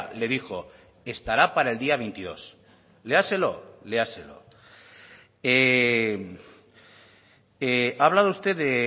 le dijo estará para el día veintidós léaselo léaselo ha hablado usted de